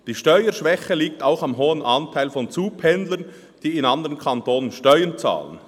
Die Steuerschwäche liegt auch am hohen Anteil von Zupendlern, die in anderen Kantonen Steuern zahlen.